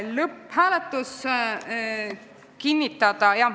Lõpphääletusest.